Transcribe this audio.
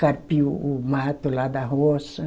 Carpir o o mato lá da roça.